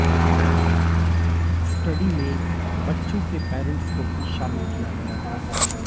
study में बच्चों के पैरंट्स को भी शामिल किया गया था